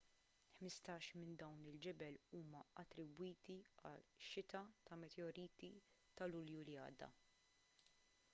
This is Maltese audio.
ħmistax minn dawn il-ġebel huma attribwiti għax-xita ta' meteoriti ta' lulju li għadda